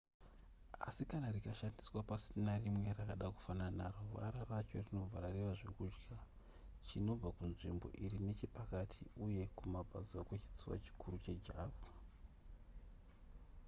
asi kana rikashandiswa pasina rimwe rakada kufanana naro vara racho rinobva rareva zvekudya chinobva kunzvimbo iri nechepakati uye kumabvazuva kwechitsuwa chikuru chejava